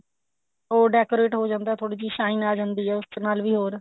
ਉਹ decorate ਹੋ ਜਾਂਦਾ ਥੋੜੀ ਜਿਹੀ shine ਆ ਜਾਂਦੀ ਹੈ ਉਸ ਨਾਲ ਵੀ ਹੋਰ